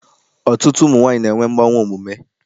Ọtụtụ ụmụ nwaanyị na-enwe mgbanwe omume.